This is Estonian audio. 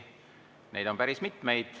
Neid on päris mitu.